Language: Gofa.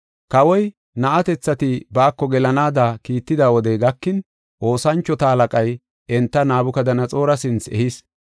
Kawoy, na7atethati baako gelanaada kiitida wodey gakin, oosanchota halaqay enta Nabukadanaxoora sinthe ehis.